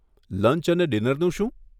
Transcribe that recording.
Lunch અને ડિનરનું શું?